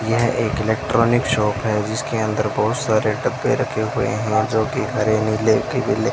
यह एक electronic shop है जिसके अंदर बहुत सारे डब्बे रखे हुए हैं जोकि हरे नीले --